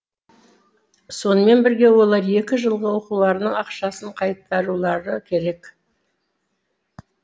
сонымен бірге олар екі жылғы оқуларының ақшасын қайтарулары керек